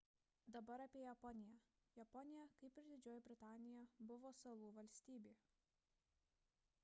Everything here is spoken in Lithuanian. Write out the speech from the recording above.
dabar apie japoniją japonija kaip ir didžioji britanija buvo salų valstybė